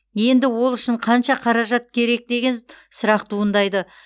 енді ол үшін қанша қаражат керек деген сұрақ туындайды